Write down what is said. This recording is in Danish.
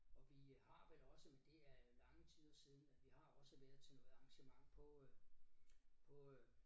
Og vi har vel også men det er lange tider siden at vi har også været til noget arrangement på øh på øh